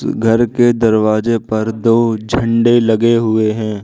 घर के दरवाजे पर दो झंडे लगे हुए हैं।